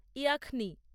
ইয়াখনি